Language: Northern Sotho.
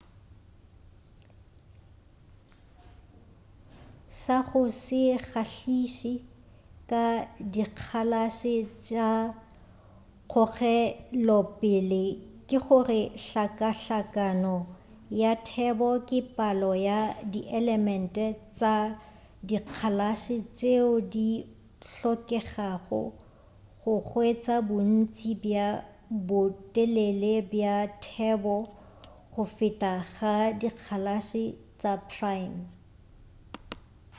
sa go se kgahliše ka dikgalase tša kgogelopele ke gore hlakahlakano ya thebo le palo ya dielement tša dikgalase tšeo di hlokegago go hwetša bontši bja botelele bja thebo go feta ga dikgalase tša prime